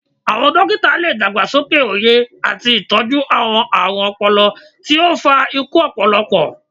Awọn dokita le dagbasoke oye ati itọju awọn aarun ọpọlọ ti o fa iku ọpọlọpọ